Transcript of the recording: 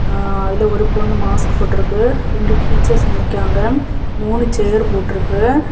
அஅ அதுல ஒரு பொண்ணு மாஸ்க் போட்டு இருக்கு ரெண்டு டீச்சர்ஸ் நிக்காங்க மூணு சேர் போட்டுருக்கு.